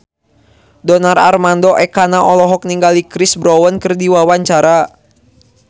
Donar Armando Ekana olohok ningali Chris Brown keur diwawancara